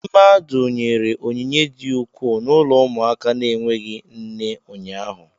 Mmadụ nyere onyinye di ukwuu n'ụlọ ụmụaka na-enweghị nne ụnyaahụ.